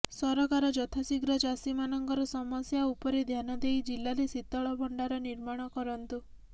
ସରକାର ଯଥା ଶୀଘ୍ର ଚାଷୀ ମାନଙ୍କର ସମସ୍ୟା ଉପରେ ଧ୍ୟାନଦେଇ ଜିଲ୍ଲାରେ ଶୀତଳ ଭଣ୍ଡାର ନିର୍ମାଣ କରନ୍ତୁ